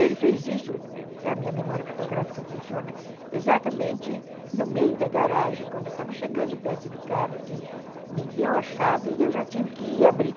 Ele fez isso, a minha memória fotográfica funciona, exatamente no meio da garagem, quando eu estava chegando perto do carro, que ele me deu a chave e eu já tive que ir abrir.